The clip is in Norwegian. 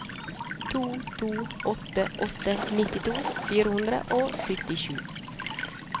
to to åtte åtte nittito fire hundre og syttisju